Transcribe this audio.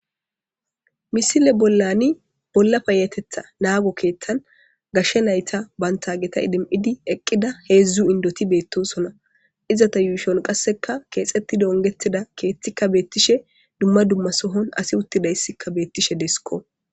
misile bollani bolla payatetha naago keeththan gashshe nayta bantageta idim7idi eqqida heedzdzu indoti beettosona izata yuushon qasseka keexetti dongetida keeththikka beettishe dumma dumma sohon asi uttidayssikka beettishe deskko